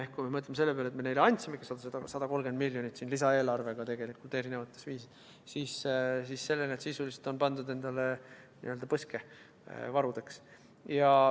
Ehk kui me mõtleme selle peale, et me andsime neile 130 miljonit lisaeelarvega erinevatel viisidel, siis selle on nad endale sisuliselt n-ö põske pannud, varudeks.